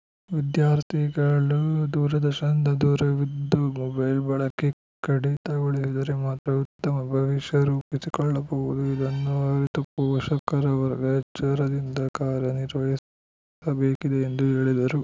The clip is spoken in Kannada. ವಿದ್ಯಾರ್ಥಿಗಳು ದೂರದರ್ಶನದ ದೂರವಿದ್ದು ಮೊಬೈಲ್‌ ಬಳಕೆ ಕಡಿತಗೊಳಿಸಿದರೆ ಮಾತ್ರ ಉತ್ತಮ ಭವಿಷ್ಯ ರೂಪಿಸಿಕೊಳ್ಳಬಲ್ಲರು ಇದನ್ನು ಅರಿತು ಪೋಷಕರ ವರ್ಗ ಎಚ್ಚರದಿಂದ ಕಾರ್ಯ ನಿರ್ವಹಿಸಬೇಕಿದೆ ಎಂದು ಹೇಳಿದರು